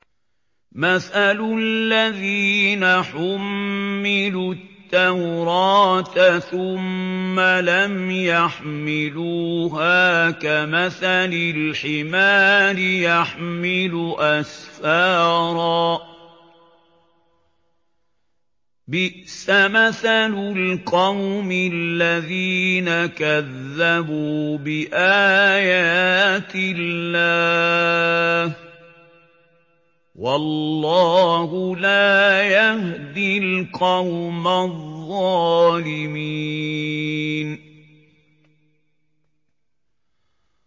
مَثَلُ الَّذِينَ حُمِّلُوا التَّوْرَاةَ ثُمَّ لَمْ يَحْمِلُوهَا كَمَثَلِ الْحِمَارِ يَحْمِلُ أَسْفَارًا ۚ بِئْسَ مَثَلُ الْقَوْمِ الَّذِينَ كَذَّبُوا بِآيَاتِ اللَّهِ ۚ وَاللَّهُ لَا يَهْدِي الْقَوْمَ الظَّالِمِينَ